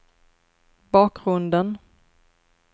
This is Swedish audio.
bakgrunden